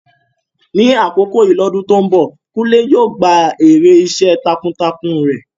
Ní àkókò yìí lọ́dún tó ń bọ̀, Kunle yóò gba èrè iṣẹ́ takuntakun rẹ̀.